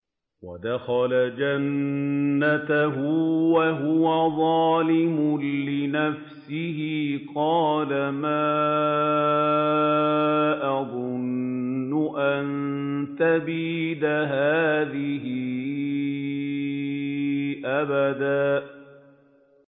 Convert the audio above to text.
وَدَخَلَ جَنَّتَهُ وَهُوَ ظَالِمٌ لِّنَفْسِهِ قَالَ مَا أَظُنُّ أَن تَبِيدَ هَٰذِهِ أَبَدًا